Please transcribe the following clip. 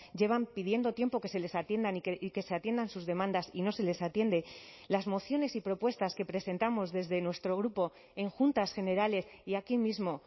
llevan pidiendo tiempo que se les atiendan y que se atiendan sus demandas y no se les atiende las mociones y propuestas que presentamos desde nuestro grupo en juntas generales y aquí mismo